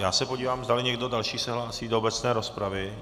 Já se podívám, zdali někdo další se hlásí do obecné rozpravy.